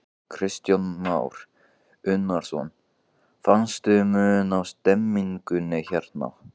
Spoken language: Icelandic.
Kristján Már Unnarsson: Fannstu mun á stemningunni hérna?